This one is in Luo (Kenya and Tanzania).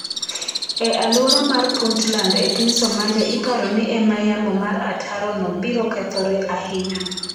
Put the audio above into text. E alwora mar Puntland e piny Somalia iparo ni e ma yamo mar ataro no biro kethore ahinya.